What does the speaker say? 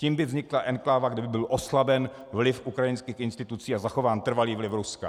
Tím by vznikla enkláva, kde by byl oslaben vliv ukrajinských institucí a zachován trvalý vliv Ruska.